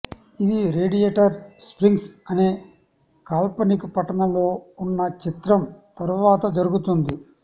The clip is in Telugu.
ఇది రేడియేటర్ స్ప్రింగ్స్ అనే కాల్పనిక పట్టణంలో ఉన్న చిత్రం తర్వాత జరుగుతుంది